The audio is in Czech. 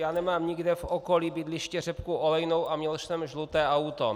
Já nemám nikde v okolí bydliště řepku olejnou a měl jsem žluté auto.